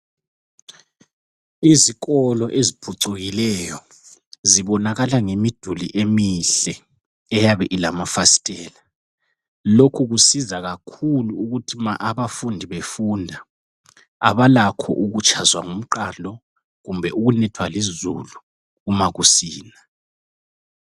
izikolo eziphucukileyo zibonakala ngemiduli emihle eyabe ilamafasitela lokhu kusiza kakhulu ukuthi ma abafundi befunda abalakho ukutshazwa ngumqando kumbe ukunethwa lizulu uma kusina